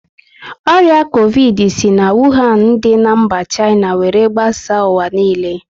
Ọrịa covidi si na Wuhan dị na mba China were gbasaa ụwa niile